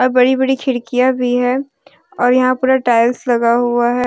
बड़ी बड़ी खिड़कियां भी है और यहां पूरा टाइल्स लगा हुआ है।